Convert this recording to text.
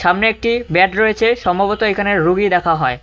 সামনে একটি ব্যাড রয়েছে সম্ভবত এখানে রোগী দেখা হয়।